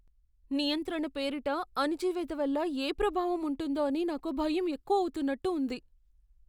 నియంత్రణ పేరిట అణిచివేత వల్ల ఏ ప్రభావం ఉంటుందో అని నాకు భయం ఎక్కువవుతున్నట్టు ఉంది.